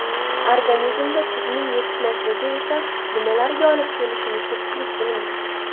Organizmda tuzning yetishmasligi esa nimalarga olib kelishini ko‘pchilik bilmaydi.